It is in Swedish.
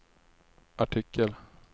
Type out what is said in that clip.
artikel